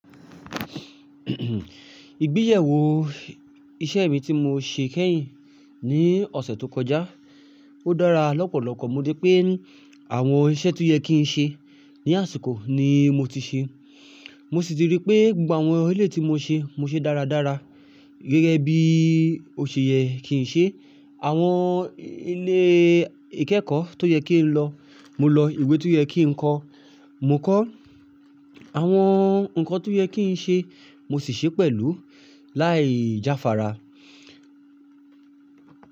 Ìgbeyẹ̀wò isé mi tí mo ṣe kẹ́yìn ní òsẹ̀ to kojá, ó dára lọ́pọ̀lọ́pọ̀. Mo rí pé àwon isẹ́ to yẹ kí n ṣe ní àsìkò ni mo ti ṣe. Mo sì ti rí pé gbogbo àwon eleyii tí mo ṣe, mo ṣe dáradára gẹ́gẹ́ bí oṣẹ̀yẹ̣ kí n ṣe. Àwon ilé ìkẹ́kọ̀ọ́ tó yẹ kí n lọ, mo lọ. Ìwé tó yẹ kí n kọ, mo kọ. Àwon ǹkan tó yẹ kí n ṣe, mo sì ṣe pẹ̀lú láì jáfara.